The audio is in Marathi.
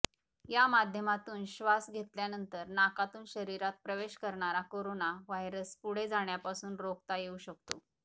या माध्यमातून श्वास घेतल्यानंतर नाकातून शरीरात प्रवेश करणारा कोरोना व्हायरस पुढे जाण्यापासून रोखता येऊ शकतो